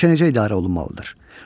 Ölkə necə idarə olunmalıdır?